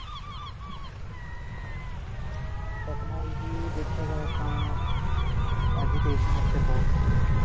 technology ਦੇਖਿਆ ਜਾਏ ਤਾਂ ਨਹੀ education ਵਾਸਤੇ ਬਹੁਤ ਵਧੀਆ